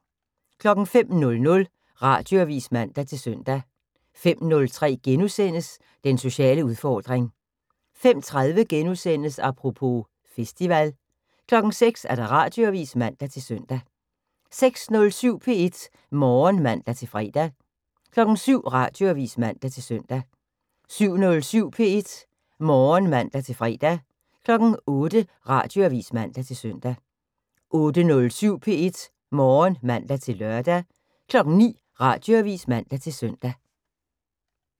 05:00: Radioavis (man-søn) 05:03: Den sociale udfordring * 05:30: Apropos - festival * 06:00: Radioavis (man-søn) 06:07: P1 Morgen (man-fre) 07:00: Radioavis (man-søn) 07:07: P1 Morgen (man-fre) 08:00: Radioavis (man-søn) 08:07: P1 Morgen (man-lør) 09:00: Radioavis (man-søn)